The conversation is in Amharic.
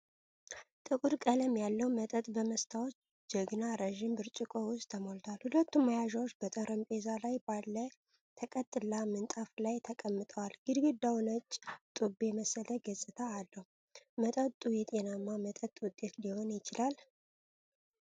ጥቁር ቀለም ያለው መጠጥ በመስታወት ጆግና ረዥም ብርጭቆ ውስጥ ተሞልቷል። ሁለቱም መያዣዎች በጠረጴዛ ላይ ባለ ተቀጥላ ምንጣፍ ላይ ተቀምጠዋል። ግድግዳው ነጭ ጡብ የመሰለ ገፅታ አለው። መጠጡ የጤናማ መጠጥ ውጤት ሊሆን ይችላል?